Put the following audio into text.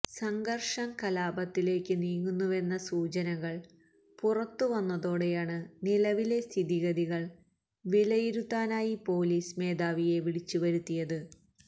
സംഘർഷം കലാപത്തിലേക്ക് നീങ്ങുന്നുവെന്ന സൂചനകൾ പുറത്തു വന്നതോടെയാണ് നിലവിലെ സ്ഥിതിഗതികൾ വിലയിരുത്താനായി പൊലീസ് മേധാവിയെ വിളിച്ച് വരുത്തിയത്